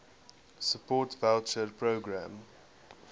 support voucher programme